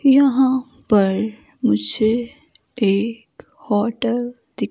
यहां पर मुझे एक होटल --